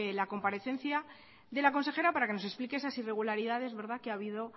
la comparecencia de la consejera para que nos explique esas irregularidades que ha habido